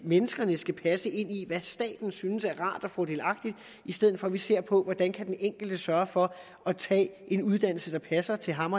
menneskene skal passe ind i hvad staten synes er rart og fordelagtigt i stedet for at vi ser på hvordan den enkelte kan sørge for at tage en uddannelse der passer til ham